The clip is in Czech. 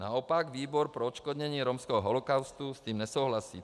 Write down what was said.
Naopak výbor pro odškodnění romského holokaustu s tím nesouhlasí.